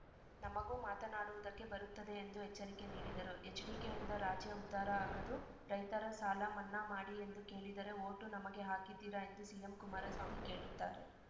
ನಮಗೂ ಮಾತನಾಡುವುದಕ್ಕೆ ಬರುತ್ತದೆ ಎಂದು ಎಚ್ಚರಿಕೆ ನೀಡಿದರು ಎಚ್‌ಡಿಕೆಯಿಂದ ರಾಜ್ಯ ಉದ್ಧಾರ ಆಗದು ರೈತರ ಸಾಲಮನ್ನಾ ಮಾಡಿ ಎಂದು ಕೇಳಿದರೆ ವೋಟು ನಮಗೆ ಹಾಕಿದ್ದೀರಾ ಎಂದು ಸಿಎಂ ಕುಮಾರಸ್ವಾಮಿ ಕೇಳುತ್ತಾರೆ